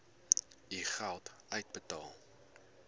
u geld uitbetaal